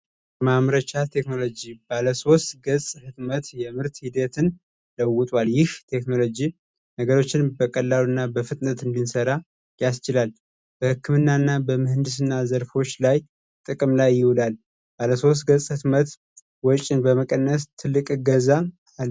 መምረቻ ቴክኖሎጂ ባለሦስት ገጽ ሕትመት የምርት ሂደትን ለውጠል ይህ ቴክኖሎጂ ነገሮችን በቀላሉ እና በፍጥነትን ቢንሰራ ያስችላል በሕክምና እና በመህንድስ እና ዘርፎች ላይ ጥቅም ላይ ይውዳል ባለ ስት ገጽ ሕትመት ወጭን በመቀነስ ትልቅ ገዛ